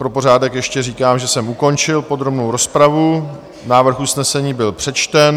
Pro pořádek ještě říkám, že jsem ukončil podrobnou rozpravu, návrh usnesení byl přečten.